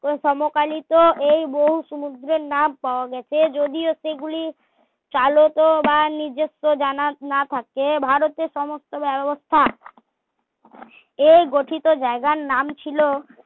সমকালীত এই বহু সমুদ্রের নাম পাওয়া গেছে যদিও সেগুলি চালিত রা নিজেস্য জানা না থাকে ভারতের সমস্ত ব্যবস্থা এই গঠিত জায়গার নাম ছিল